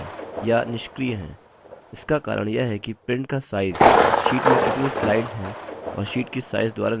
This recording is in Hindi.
इसका कारण यह है कि print का size sheet में कितनी slides हैं और sheet की size द्वारा निर्धारित होता है